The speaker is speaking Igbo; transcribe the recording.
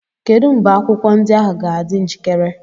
Kedu mgbe akwụkwọ ndị ahụ ga-adị njikere?